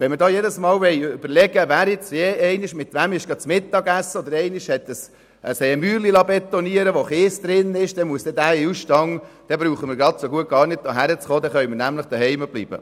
Wenn wir nun jedes Mal überlegen müssen, wer schon mal mit wem zusammen gegessen oder wen beauftragt hat, ein Betonmäuerchen zu errichten, das Kies enthält, dann brauchen wir gar nicht erst hierherzukommen, sondern könnten genauso gut zu Hause bleiben.